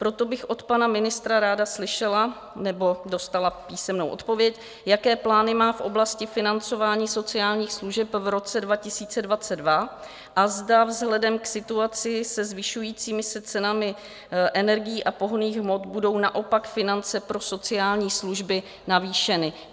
Proto bych od pana ministra ráda slyšela nebo dostala písemnou odpověď, jaké plány má v oblasti financování sociálních služeb v roce 2022 a zda vzhledem k situaci se zvyšujícími se cenami energií a pohonných hmot budou naopak finance pro sociální služby navýšeny.